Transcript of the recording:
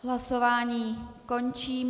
Hlasování končím.